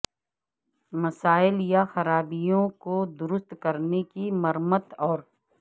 مسائل یا خرابیوں کو درست کرنے کی مرمت اور